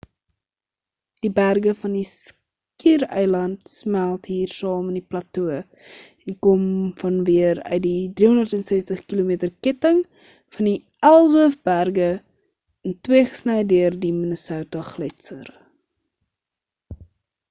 die berge van die skiereiland smelt hier saam in die plato en kom dan weer uit die 360km ketting van die ellsworth berge in twee gesny deur die minnesota gletser